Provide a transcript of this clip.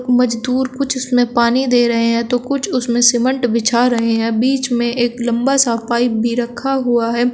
मजदूर कुछ उसमें पानी दे रहे हैं कुछ उसमें सीमेंट बिछा रहे हैं बीच में एक लंबा सा पाइप भी रखा हुआ है।